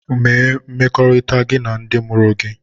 Mee mmekọrịta gị na ndị mụrụ gị!